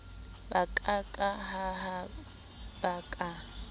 ba ka ka hahaba ka